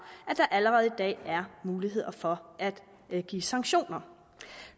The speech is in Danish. at der allerede i dag er muligheder for at give sanktioner